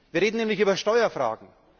Wir reden nämlich über Steuerfragen.